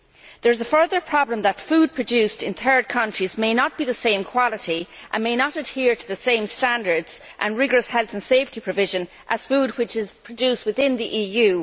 There is the further problem that food produced in third countries may not be of the same quality, and may not adhere to the same standards and rigorous health and safety provisions, as food which is produced within the EU.